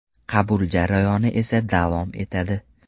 Qabul jarayoni esa davom etadi.